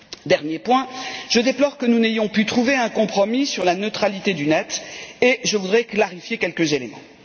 Dernier point je déplore que nous n'ayons pu trouver un compromis sur la neutralité de l'internet et je voudrais clarifier quelques éléments.